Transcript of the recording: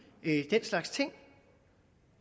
den slags ting